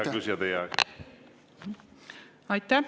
Hea küsija, teie aeg!